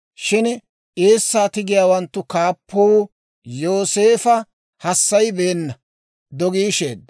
Shin eessaa tigiyaawanttu kaappuu Yooseefo hassayibeenna; dogiisheedda.